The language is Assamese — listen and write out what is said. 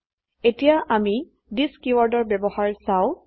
httpwwwspoken tutorialঅৰ্গ এতিয়া আমি থিচ কীওয়াৰ্ডৰ ব্যবহাৰ চাও